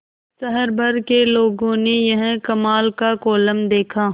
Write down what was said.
शहर भर के लोगों ने यह कमाल का कोलम देखा